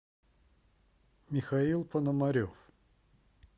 михаил пономарев